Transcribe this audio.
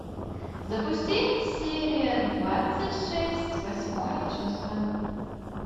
запусти серия двадцать шесть восьмое чувство